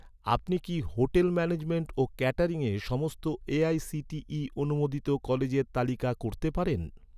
আপনি কি hotel management ও ক্যাটারিংয়ের সমস্ত এ.আই.সি.টি.ই অনুমোদিত কলেজের তালিকা করতে পারেন?